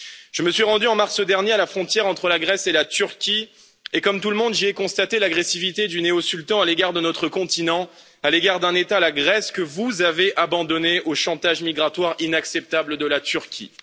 Je me suis rendu, en mars dernier, à la frontière entre la Grèce et la Turquie, et comme tout le monde, j'y ai constaté l'agressivité du néo sultan à l'égard de notre continent, à l'égard d'un État, la Grèce, que vous avez abandonné au chantage migratoire inacceptable de la Turquie.